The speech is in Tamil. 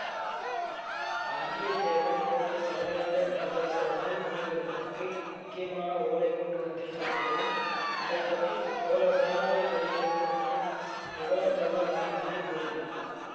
வந்தியத்தேவன் கோட்டை தலைவனிடம் இளவரசர் அருள்மொழிவர்மருக்கு முக்கியமான ஓலை கொண்டு வந்திருப்பதாகவும் அதை பற்றி சோழ சேநாதிபதியிடத்தின்தான் விவரம் சொல்ல முடியும் என்று கூறினான்